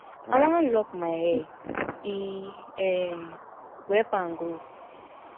i wan lock my hair e um go help am grow